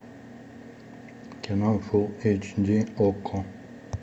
кино фул эйч ди окко